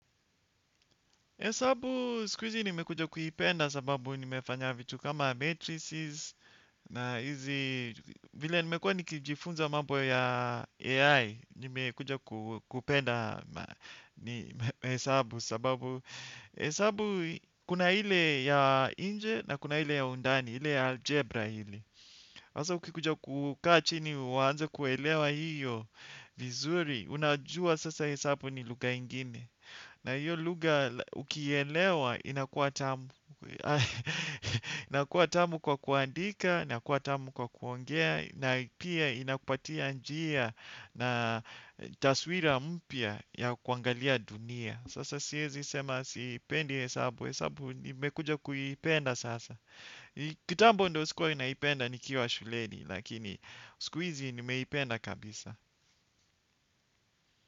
Hesabu siku hizi nimekuja kuipenda sababu nimefanya vitu kama matrices na hizi vile nimekuwa nikijifunza mambo ya AI nimekuja kupenda hesabu sababu hesabu kuna ile ya nje na kuna ile ya undani ile ya algebra ile. Hasa ukikuja kukaa chini uanze kuelewa hiyo vizuri, unajua sasa hesabu ni lugha ingine. Na hiyo lugha ukielewa inakuwa tamu kwa kuandika, inakuwa tamu kwa kuongea, na pia inakupatia njia na taswira mpya ya kuangalia dunia. Sasa siezi sema sipendi hesabu, hesabu imekuja kuipenda sasa. Kitambo ndo sikuwa naipenda nikiwa shuleni lakini siku hizi nimeipenda kabisa.